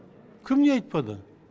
кім не айтпады